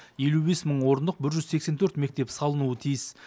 елу бес мың орындық бір жүз сексен төрт мектеп салынуы тиіс